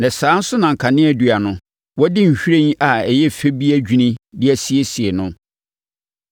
Na saa ara nso na kaneadua no, wɔadi nhwiren a ɛyɛ fɛ bi adwini de asiesie no.